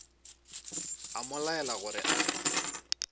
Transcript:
a mo laela gore a